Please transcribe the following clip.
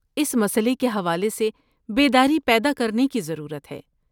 اس مسئلے کے حوالے سے بیداری پیدا کرنے کی ضرورت ہے۔